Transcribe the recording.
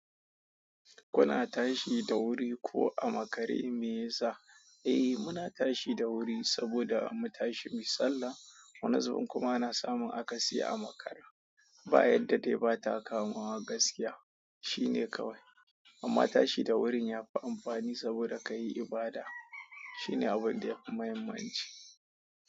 Kuna tashi da wuri ko a makare, me yasa? Eh muna tashi da wuri, saboda mu tashi muyi sallah. Wani zubin kuma ana samun akasi a makara. Bayan da dai bata kamawa gaskiya, shine kawai. Amma tashi da wurin yafi amfani, saboda ka yi ibada. Shine abun da ya fi mahimmanci.